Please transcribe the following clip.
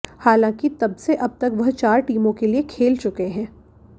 हालांकि तबसे अब तक वह चार टीमों के लिए खेल चुके हैं